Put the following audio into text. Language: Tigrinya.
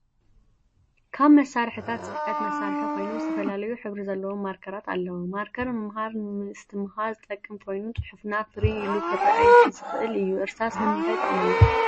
ካብ መሳሪሒቲታት ፅሕፈት መሳርሒ ኮይኑ ዝተፈላለዩ ሕብሪ ዘለዎም ማርከራት ኣለው። ማርከር ንምምሃር ምድትምሃር ዝጠቅም ኮይኑ ፅሑፍና ፍርይ ኢሉ ክርኣ ዝክእል እዩ። እርሳስ ንምታይ ይጠቅመና ?